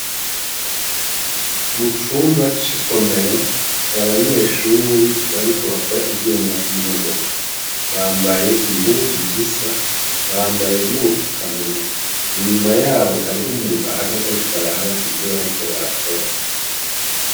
Mu cumba c'isomero hari abanyeshuri bari ko bakora ivyuma vy'imodoka bambaye impuzu zisa bambaye n'ubufukamunwa inyuma yabo hariho umuntu ahagaze ari ko araba ivyo bariko barakora.